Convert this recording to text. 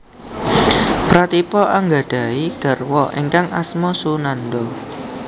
Pratipa anggadhahi garwa ingkang asma Sunanda